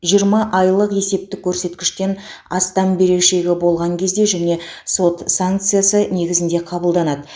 жиырма айлық есептік көрсеткіштен астам берешегі болған кезде және сот санкциясы негізінде қабылданады